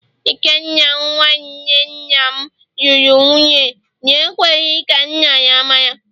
Ikenna, nwa nwanne nna m luru nwunye na-ekweghi ka nna ya mara